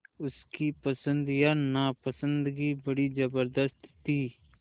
उसकी पसंद या नापसंदगी बड़ी ज़बरदस्त थी